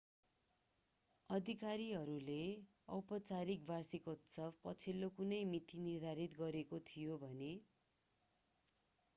अधिकारीहरूले औपचारिक वार्षिकोत्सव पछिल्लो कुनै मिति निर्धारित गरिएको थियो भने